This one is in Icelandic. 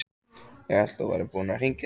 Ég hélt að þú værir búinn að hringja.